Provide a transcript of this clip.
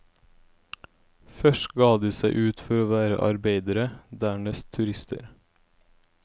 Først ga de seg ut for å være arbeidere, dernest turister.